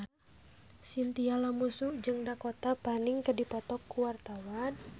Chintya Lamusu jeung Dakota Fanning keur dipoto ku wartawan